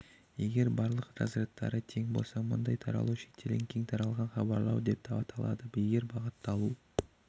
егер барлық разрядтары тең болса мұндай таралу шектелген кең таралған хабарлау деп аталады егер бағытталу